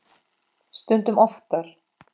Stundum oftar.